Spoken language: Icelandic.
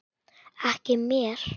Ekki mér.